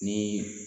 Ni